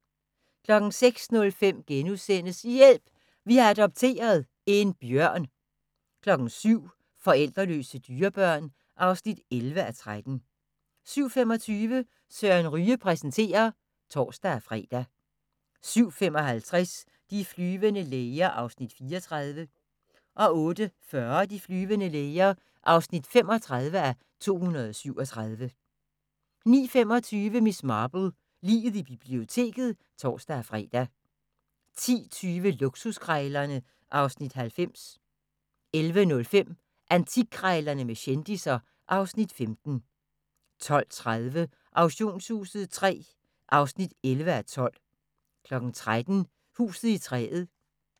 06:05: Hjælp! Vi har adopteret – en bjørn * 07:00: Forældreløse dyrebørn (11:13) 07:25: Søren Ryge præsenterer (tor-fre) 07:55: De flyvende læger (34:237) 08:40: De flyvende læger (35:237) 09:25: Miss Marple: Liget i biblioteket (tor-fre) 10:20: Luksuskrejlerne (Afs. 90) 11:05: Antikkrejlerne med kendisser (Afs. 15) 12:30: Auktionshuset III (11:12) 13:00: Huset i træet